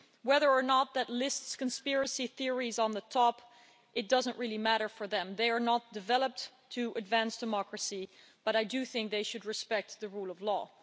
Whether or not that lists conspiracy theories on the top, it doesn't really matter for them, they are not developed to advance democracy, but I do think they should respect the rule of law.